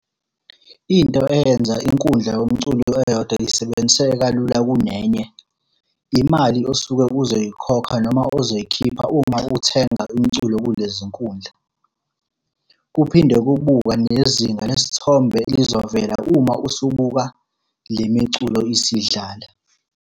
Into eyenza inkundla yomculo eyodwa isebenziseke kalula kunenye, imali osuke uzoyikhokha noma ozoyikhipha uma uthenga umculo kulezi iy'nkundla. Kuphinde kubukwa nezinga lesithombe elizovela uma usubuka le miculo isidlala.